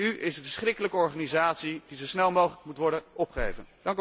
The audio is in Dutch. De EU is een verschrikkelijke organisatie die zo snel mogelijk moet worden opgeheven.